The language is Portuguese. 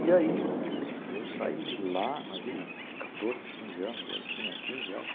E aí, putz, eu saí de lá, imagina, quatorze, quinze anos, eu tinha quinze, acho.